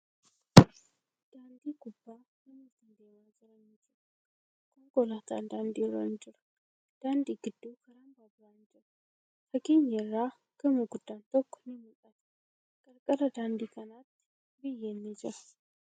Daandii gubbaa namootni deemaa jiran ni jiru. Konkolaatan daandii irra ni jira. Daandii gidduu karaan baaburaa ni jira. Fageenya irraa gamoo guddaan tokko ni mul'ata. Qarqara daandii kanaatti biyyeen ni jira.